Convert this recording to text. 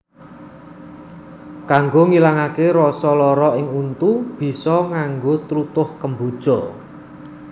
Kanggo ngilangaké rasa lara ing untu bisa nganggo tlutuh kemboja